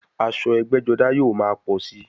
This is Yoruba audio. Aṣọ ẹgbẹ́-jọdá yóò máa pọ̀ síi.